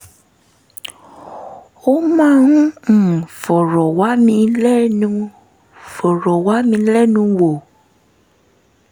ó máa ń um fọ̀rọ̀ wá mi lẹ́nu wá mi lẹ́nu wò